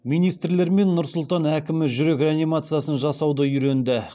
министрлер мен нұр сұлтан әкімі жүрек реанимациясын жасауды үйренді